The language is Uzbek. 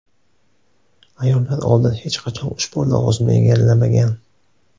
Ayollar oldin hech qachon ushbu lavozimni egallamagan.